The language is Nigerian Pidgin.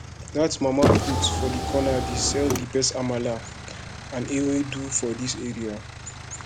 dat mama put for corner dey sell di best amala and ewedu for dis area